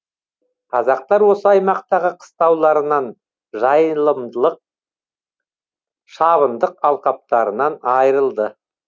қазақтар осы аймақтағы қыстауларынан жайылымдылық шабындық алқаптарынан айырылды